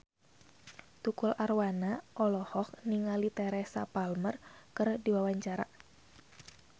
Tukul Arwana olohok ningali Teresa Palmer keur diwawancara